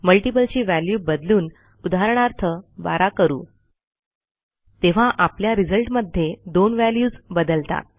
multiple ची value बदलून उदाहरणार्थ 12 करू तेव्हा आपल्या रिझल्टमध्ये दोन व्हॅल्यूज बदलतात